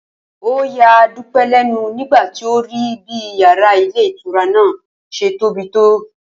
Ó ya Dúpé̩ lé̩nu nígbà tí ó rí bí yàrá ilé ìtura náà s̩e tóbi tó